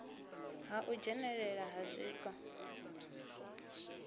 ha u dzhenelelana ha zwiko